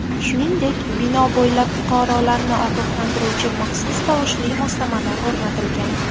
Shuningdek, bino bo‘ylab fuqarolarni ogohlantiruvchi maxsus tovushli moslamalar o‘rnatilgan.